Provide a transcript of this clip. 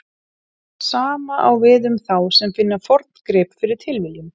Sama á við um þá sem finna forngrip fyrir tilviljun.